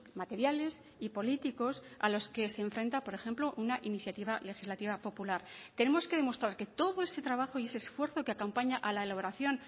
materiales y políticos a los que se enfrenta por ejemplo una iniciativa legislativa popular tenemos que demostrar que todo ese trabajo y ese esfuerzo que acompaña a la elaboración